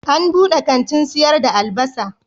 An buɗe kantin sayar da albasa.